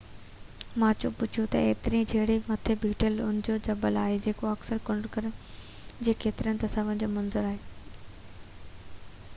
Machu Picchu جي اترئين ڇيڙي مٿي بيٺل اُڀو جبل آهي جيڪو اڪثر کنڊرن جي ڪيترين ئي تصويرن جو منظر آهي